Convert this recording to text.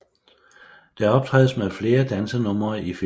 Der optrædes med flere dansenumre i filmen